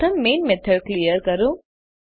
પ્રથમ main method clear કરો